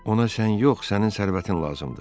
Ona sən yox, sənin sərvətin lazımdır.